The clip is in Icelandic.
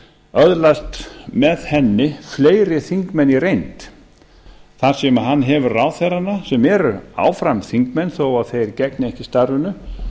öðlast með henni fleiri þingmenn í reynd þar sem hann hefur ráðherrana sem eru áfram þingmenn þó þeir gegni ekki starfinu